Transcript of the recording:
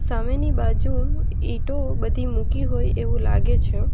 સામેની બાજુ ઈંટો બધી મૂકી હોય એવું લાગે છે.